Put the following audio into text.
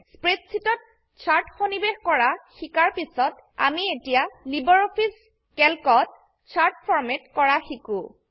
স্প্ৰেডশীটত chart সন্নিবেশ কৰা শিকাৰ পিছত আমি এতিয়া লাইব্ৰঅফিছ ক্যালক ত চাৰ্ট ফৰম্যাট কৰা শিকো